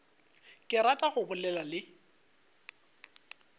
ke rata go bolela le